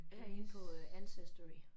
Jeg er inde på Ancestry